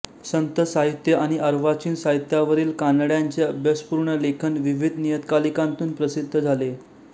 संत साहित्य आणि अर्वाचीन साहित्यावरील कानड्यांचे अभ्यासपूर्ण लेखन विविध नियतकालिकांतून प्रसिद्ध झाले